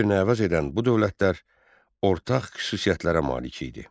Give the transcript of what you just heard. Bir-birini əvəz edən bu dövlətlər ortaq xüsusiyyətlərə malik idi.